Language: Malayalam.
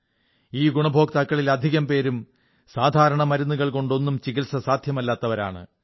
ഈ ഗുണഭോക്താക്കളിൽ അധികം പേരും സാധാരണ മരുന്നുകൾകൊണ്ടൊന്നും ചികിത്സ സാധ്യമല്ലാത്തവരാണ്